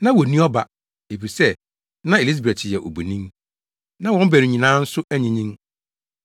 Na wonni ɔba, efisɛ na Elisabet yɛ obonin. Na wɔn baanu nyinaa nso anyinyin.